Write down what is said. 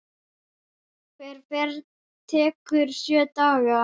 Hver ferð tekur sjö daga.